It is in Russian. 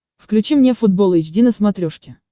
включи мне футбол эйч ди на смотрешке